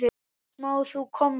Sem þú komst með.